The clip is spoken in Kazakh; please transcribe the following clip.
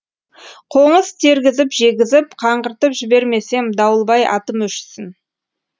қоңыз тергізіп жегізіп қаңғыртып жібермесем дауылбай атым өшсін